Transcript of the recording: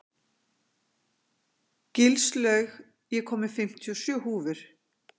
Gilslaug, ég kom með fimmtíu og sjö húfur!